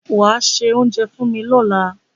Wàá se oúnjẹ fún mi lọ́la.